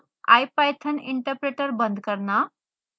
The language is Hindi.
ipython interpreter बंद करना